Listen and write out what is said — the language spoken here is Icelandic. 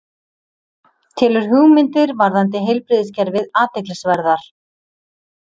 Telur hugmyndir varðandi heilbrigðiskerfið athyglisverðar